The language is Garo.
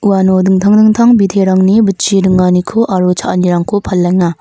uano dingtang dingtang biterangni bitchi ringaniko aro cha·anirangko palenga.